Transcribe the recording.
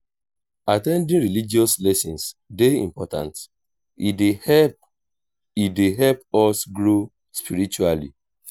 at ten ding religious lessons dey important e dey help e dey help us grow spiritually.